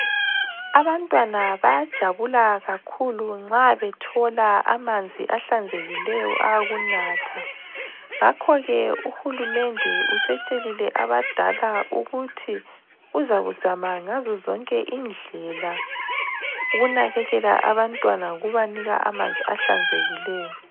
Abantwana bayajabula kakhulu nxa bethola amanzi ahlanzekileyo awokunatha. Ngakhoke uhulumende usetshelile abadala ukuthi uzakuzama ngazozonke indlela ukunakekela abantwana ngokubanika amanzi ahlanzekileyo.